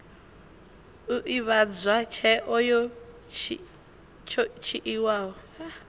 u ivhadzwa tsheo yo dzhiiwaho